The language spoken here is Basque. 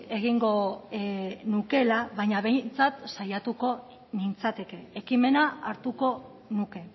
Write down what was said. egingo nukela baina behintzat saiatuko nintzateke ekimena hartuko nuke